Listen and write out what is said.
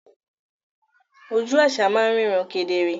Oju àṣà máa ń ríran kedere